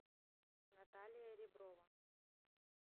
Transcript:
наталья реброва